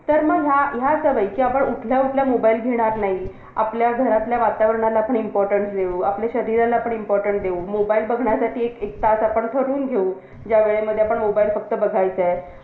जर एखाद्या व्यक्ती अभ्यासच करत नाही आणि फक्त विचारतोय तो आपल्याला करायचे आणि असं करून UPSC ला खूप tough मानलं जातं .